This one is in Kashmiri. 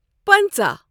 پنَژہ